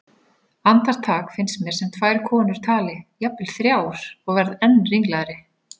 Andartak finnst mér sem tvær konur tali, jafnvel þrjár, og verð enn ringlaðri.